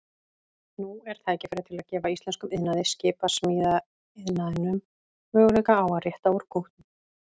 Nú er tækifæri til að gefa íslenskum iðnaði, skipasmíðaiðnaðinum, möguleika á að rétta úr kútnum.